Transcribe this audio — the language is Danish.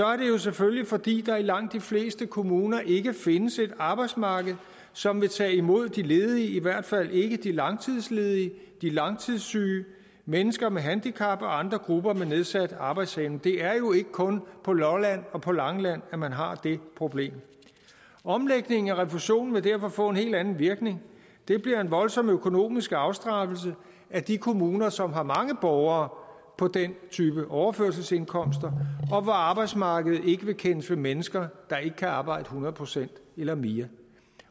er det jo selvfølgelig fordi der i langt de fleste kommuner ikke findes et arbejdsmarked som vil tage imod de ledige i hvert fald ikke de langtidsledige de langtidssyge mennesker med handicap og andre grupper med nedsat arbejdsevne det er jo ikke kun på lolland og langeland at man har det problem omlægning af refusionen vil derfor få en helt anden virkning det bliver en voldsom økonomisk afstraffelse af de kommuner som har mange borgere på den type overførselsindkomster og hvor arbejdsmarkedet ikke vil kendes ved mennesker der ikke kan arbejde hundrede procent eller mere